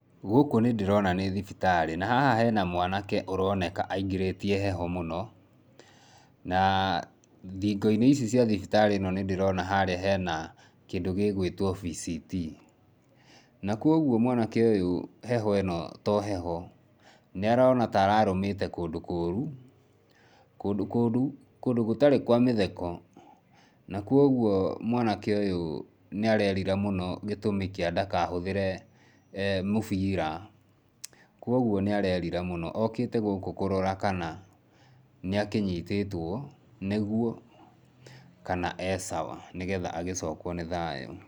Gũkũ nĩ ndĩrona nĩ thibitarĩ. Na haha hena mwanake ũroneka aingĩrĩtie heho mũno na thingo-inĩ ici cia thibitarĩ ĩno nĩndĩrona harĩa hena kĩndũ gĩgwĩtwo VCT . Na kuoguo mwanake ũyũ, heho ĩno to heho, nĩarona ta ararũmĩte kũndũ kũũru, kũndũ kũũrũ kũndũ gũtarĩ kwa mĩtheko, na kwoguo mwanake ũyũ nĩarerira mũno gĩtũmi kĩa ndakahũthĩre mũbira. Kwoguo nĩareria mũno okĩte gũkũ kũrora kana nĩakĩnyitĩtwo nĩguo kana e sawa nĩgetha agĩcokwo nĩ thayũ.